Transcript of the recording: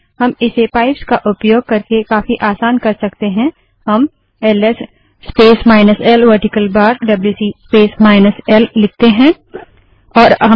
हम इसे पाइप्स का उपयोग करके काफी आसान कर सकते हैं हम L S space minus L vertical bar WC space minus L LS space minus L vertical bar WC space minus L लिखते हैं